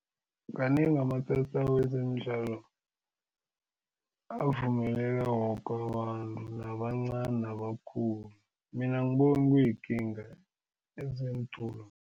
Kanengi amatatawu wezemidlalo avumeleke woke ababantu nabancani nabakhulu mina angiboni kuyikinga